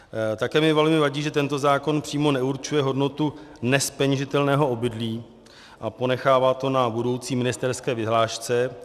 Také mi velmi vadí, že tento zákon přímo neurčuje hodnotu nezpeněžitelného obydlí a ponechává to na budoucí ministerské vyhlášce.